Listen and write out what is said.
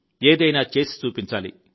ఏదైనా చేసి చూపించాలి